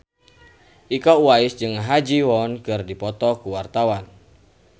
Iko Uwais jeung Ha Ji Won keur dipoto ku wartawan